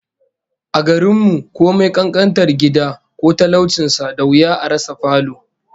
A garin mu, komai kankantar gida ko talaucin sa, da wuya a rasa falo